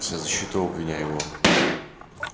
вся защита у обвиняемого